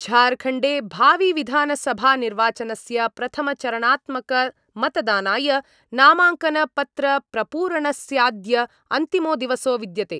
झारखण्डे भाविविधानसभानिर्वाचनस्य प्रथमचरणात्मकमतदानाय नामाङ्कनपत्रप्रपूरणस्याद्य अन्तिमो दिवसो विद्यते।